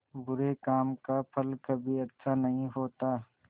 बुरे काम का फल कभी अच्छा नहीं होता